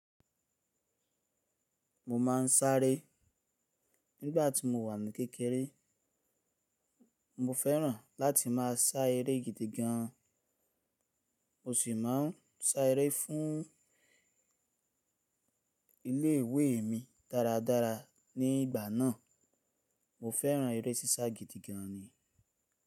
Mo ma ń sáré. Ngbà tí mo wà ní kékeré, mo féràn láti máa sá eré gidi gan. Mo sì máa ń sá eré fún ilé ìwé mi dáradára. Nígbà náà, mo féràn eré sísá gidi gan ni.